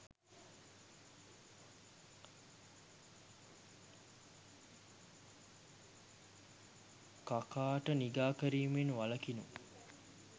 කකාට නිගා කිරීමෙන් වලකිනු